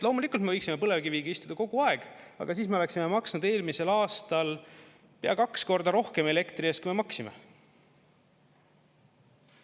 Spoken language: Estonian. Loomulikult me võiksime põlevkiviga istuda kogu aeg, aga siis me oleksime maksnud eelmisel aastal pea kaks korda rohkem elektri eest, kui me maksime.